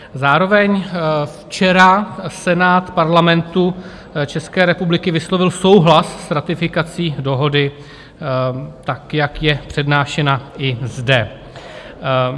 Zároveň včera Senát Parlamentu České republiky vyslovil souhlas s ratifikací dohody tak, jak je přednášena i zde.